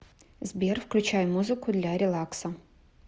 сбер включай музыку для релакса